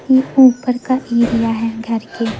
ये ऊपर का एरिया है घर के--